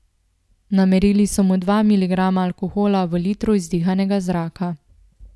Namerili so mu dva miligrama alkohola v litru izdihanega zraka.